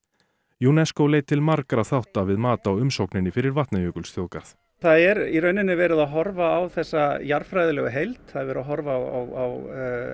UNESCO leit til margra þátta við mat á umsókninni fyrir Vatnajökulsþjóðgarð það er í rauninni verið að horfa á þessa jarðfræðilegu heild það er verið að horfa á